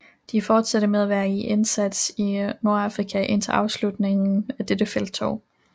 De fortsatte med at være i indsats i Nordafrika indtil afslutningen af dette felttog